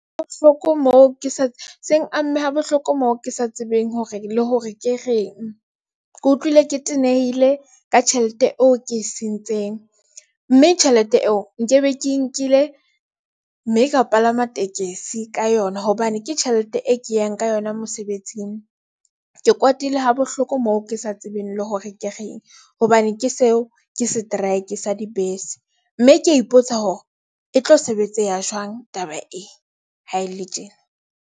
Ha bohloko moo ke se seng amme habohloko moo ke sa tsebeng hore le hore ke reng ke utlwile ke tenehile ka tjhelete eo ke e sentseng mme tjhelete eo nkebe. Ke nkile mme ka palama tekesi ka yona hobane ke tjhelete e ke yang ka yona mosebetsing. Ke kwatile ha bohloko moo ke sa tsebeng le hore ke reng, hobane ke seo ke setraeke sa dibese, mme kea ipotsa hore e tlo sebetseha jwang ha taba ee, ha e le tjena.